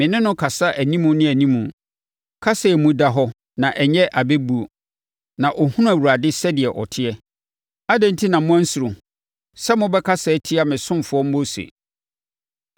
Me ne no kasa animu ne animu, kasa a emu da hɔ na ɛnyɛ abɛbuo. Na ɔhunu Awurade sɛdeɛ ɔteɛ. Adɛn enti na moansuro sɛ mobɛkasa atia me ɔsomfoɔ Mose?”